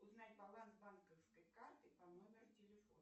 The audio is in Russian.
узнать баланс банковской карты по номеру телефона